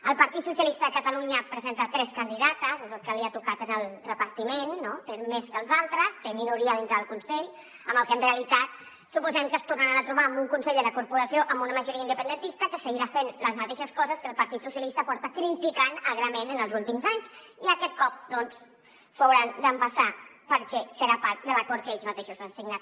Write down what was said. el partit socialista de catalunya ha presentat tres candidates és el que li ha tocat en el repartiment en té més que els altres té minoria dintre del consell amb què en realitat suposem que es tornaran a trobar amb un consell de la corporació amb una majoria independentista que seguirà fent les mateixes coses que el partit socialista critica agrament en els últims anys i aquest cop doncs s’ho hauran d’empassar perquè serà part de l’acord que ells mateixos han signat